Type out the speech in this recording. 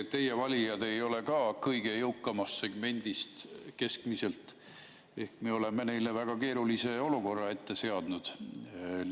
Teie valijad ei ole ka keskmiselt kõige jõukamast segmendist, me oleme nad väga keerulise olukorra ette seadnud.